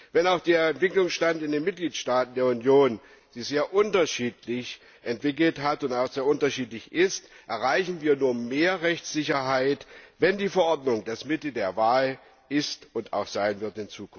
Wenn auch der Entwicklungsstand in den Mitgliedstaaten der Union sich sehr unterschiedlich entwickelt hat und auch sehr unterschiedlich ist, erreichen wir nur mehr Rechtssicherheit, wenn die Verordnung das Mittel der Wahl ist und in Zukunft auch sein wird.